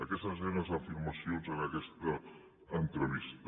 aquestes eren les afirmacions en aquesta entrevista